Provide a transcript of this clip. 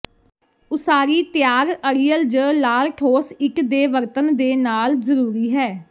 ਉਸਾਰੀ ਤਿਆਰ ਅੜੀਅਲ ਜ ਲਾਲ ਠੋਸ ਇੱਟ ਦੇ ਵਰਤਣ ਦੇ ਨਾਲ ਜ਼ਰੂਰੀ ਹੈ